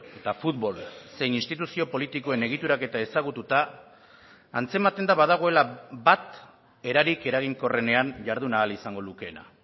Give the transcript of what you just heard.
eta futbol zein instituzio politikoen egituraketa ezagututa antzematen da badagoela bat erarik eraginkorrenean jardun ahal izango lukeena